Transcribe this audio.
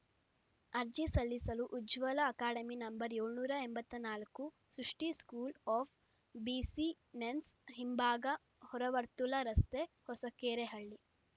ಅರ್ಜಿ ಸಲ್ಲಿಸಲು Ujwala academy number ಏಳುನೂರ ಎಂಬತ್ತ ನಾಲ್ಕು ಸೃಷ್ಟಿಸ್ಕೂಲ್‌ ಆಫ್‌ ಬಿಸಿನೆಸ್‌ ಹಿಂಭಾಗ ಹೊರವರ್ತುಲ ರಸ್ತೆ ಹೊಸಕೆರೆಹಳ್ಳಿ